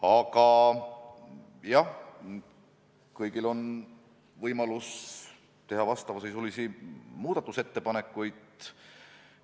Aga jah, kõigil on võimalus teha vastavasisulisi muudatusettepanekuid.